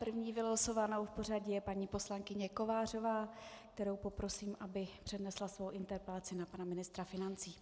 První vylosovanou v pořadí je paní poslankyně Kovářová, kterou poprosím, aby přednesla svou interpelaci na pana ministra financí.